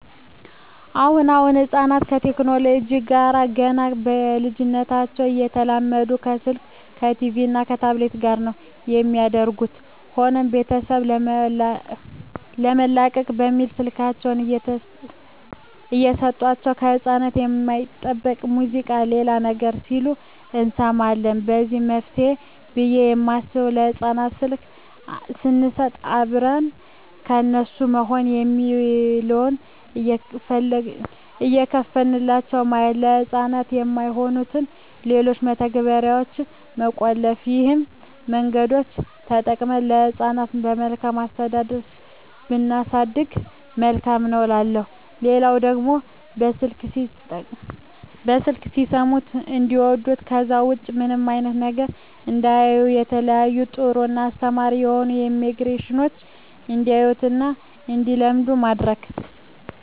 አሁን አሁን ህጻናት ከቴክኖለጂው ጋር ገና በልጂነታቸው እየተላመዱ ከስልክ ከቲቪ እና ከታብሌት ጋር ነው የሚያድጉት። ሆኖም ቤተሰብ ለመላቀቅ በሚል ስልካቸውን እየሰጦቸው ከህጻናት የማይጠበቅ ሙዚቃ ሌላም ነገር ሲሉ እንሰማለን ለዚህ መፍትሄ ብየ የማስበው ለህጻናት ስልክ ሰንሰጥ አብረን ለነሱ ይሆናል የሚለውን እየከፈትንላቸው ማየት፤ ለህጻናት የማይሆኑትን ሌሎችን መተግበርያዋች መቆለፍ ይህን መንገዶች ተጠቅመን ህጻናትን በመልካም አስተዳደግ ብናሳድግ መልካም ነው እላለሁ። ሌላው ደግሞ በስልክ ሲሰሙት እንዲዋዱት ከዛ ውጭ ምንም አይነት ነገር እንዳያዩ የተለያዩ ጥሩ እና አስተማሪ የሆኑ አኒሜሽኖችን እንዲያዩ እና እንዲለምዱ ማድረግ።